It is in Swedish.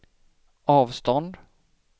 avstånd